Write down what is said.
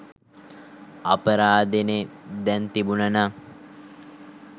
අපරාදෙනෙ දැං තිබුනනං